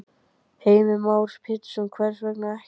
Heimir Már Pétursson: Hvers vegna ekki?